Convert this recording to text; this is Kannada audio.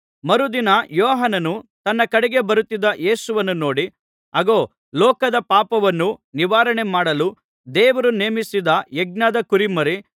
ಮರುದಿನ ಯೋಹಾನನು ತನ್ನ ಕಡೆಗೆ ಬರುತ್ತಿದ್ದ ಯೇಸುವನ್ನು ನೋಡಿ ಅಗೋ ಲೋಕದ ಪಾಪವನ್ನು ನಿವಾರಣೆ ಮಾಡಲು ದೇವರು ನೇಮಿಸಿದ ಯಜ್ಞದಕುರಿಮರಿ